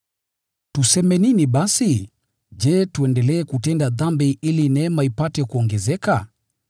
Tuseme nini basi? Je, tuendelee kutenda dhambi ili neema ipate kuongezeka?